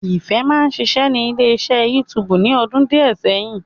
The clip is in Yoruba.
Ìfẹ́ máa ń ṣiṣẹ́ ní ilé iṣẹ́ YouTube ní ọdún díẹ̀ sẹ́yìn